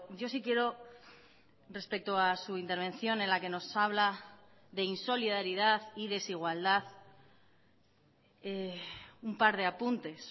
yo sí quiero respecto a su intervención en la que nos habla de insolidaridad y desigualdad un par de apuntes